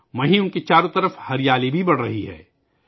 ساتھ ہی ان کے اردگرد ہریالی بھی بڑھ رہی ہے